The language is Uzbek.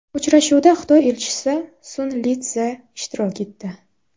Uchrashuvda Xitoy elchisi Sun Litsze ishtirok etdi.